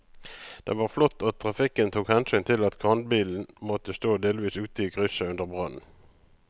Det var flott at trafikken tok hensyn til at kranbilen måtte stå delvis ute i krysset under brannen.